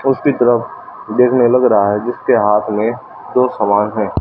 उसकी तरफ देखने लग रहा हैं कि उसके हाथ में दो सामान हैं।